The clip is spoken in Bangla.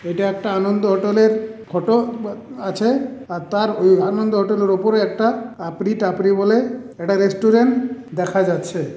এটা একটা আনন্দ হোটেলের ফটো বা আছে আর তার ওই আনন্দ হোটেলের ওপরে একটা আপরি তাপড়ি বলে একটা রেস্টুরেন্ট দেখা যাচ্ছে।